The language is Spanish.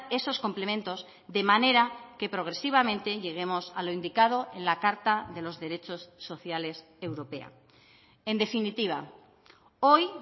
esos complementos de manera que progresivamente lleguemos a lo indicado en la carta de los derechos sociales europea en definitiva hoy